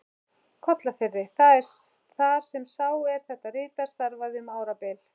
Kollafirði, þar sem sá, er þetta ritar, starfaði um árabil.